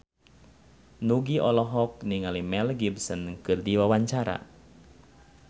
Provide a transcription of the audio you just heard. Nugie olohok ningali Mel Gibson keur diwawancara